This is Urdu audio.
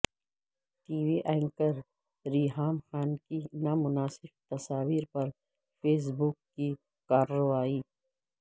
T V anchor Reham Khan کی نامناسب تصاویر پر فیس بک کی کارروائی